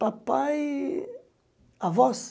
Papai avós?